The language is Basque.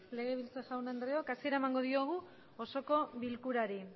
legebiltza jaun adreok asiera eman diogu osoko bilkurari